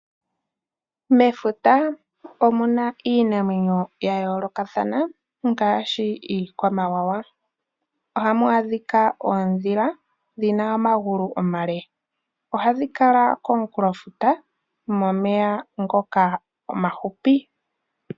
Mefuta omuna iinamwenyo ya yoolokathana ngaashi iikwamawawa. Ohamu adhika oondhila dhina omagulu omale, ohadhi kala komunkulofuta momeya ngoka omahupi.